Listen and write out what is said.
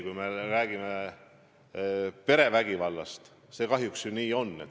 Kahjuks see nii tõesti on.